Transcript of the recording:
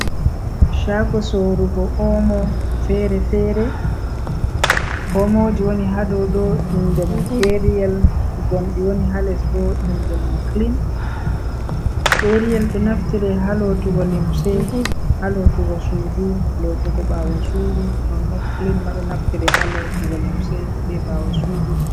Shago sorrugo Omo fere-fere. Omo ji woni ha dow ɗo inde mun Ariyal, gonɗi woni ha les bo inde mum Klin. Ariyal ɗo naftire ha lotugo limse, ha lotugo sudu, lotugo ɓawo sudu nonnon Klin ma ɗo naftira ha lotugo limse be ɓawo sudu.